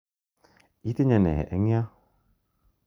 Itinye ne eng' yo?